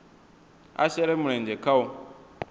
a shele mulenzhe kha u